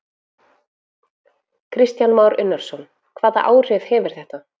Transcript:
Kristján Már Unnarsson: Hvaða áhrif hefur þetta?